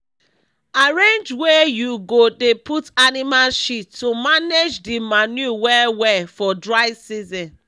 arrange wey u go dey put animal shit to manage d manure well well for dry season